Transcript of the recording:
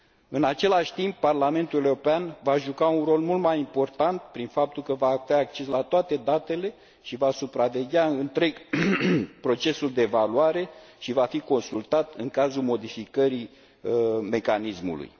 În același timp, Parlamentul European va juca un rol mult mai important, prin faptul că va avea acces la toate datele și va supraveghea întreg procesul de evaluare și va fi consultat în cazul modificării mecanismului.